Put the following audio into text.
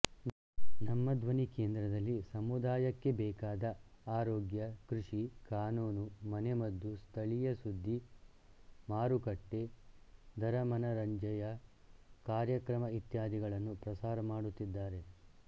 ನಮ್ಮಧ್ವನಿ ಕೇಂದ್ರದಲ್ಲಿ ಸಮುದಾಯಕ್ಕೆ ಬೇಕಾದ ಆರೋಗ್ಯ ಕೃಷಿ ಕಾನೂನುಮನೆಮದ್ದುಸ್ಥಳೀಯ ಸುದ್ದಿ ಮಾರುಕಟ್ಟೆ ದರಮನರಂಜೆಯ ಕಾರ್ಯಕ್ರಮ ಇತ್ಯಾದಿಗಳನ್ನು ಪ್ರಸಾರ ಮಾಡುತ್ತಿದ್ದಾರೆ